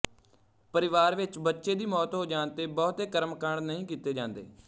ਪਰਿਵਾਰ ਵਿੱਚ ਬੱਚੇ ਦੀ ਮੌਤ ਹੋ ਜਾਣ ਤੇ ਬਹੁਤੇ ਕਰਮ ਕਾਂਡ ਨਹੀਂ ਕੀਤੇ ਜਾਂਦੇ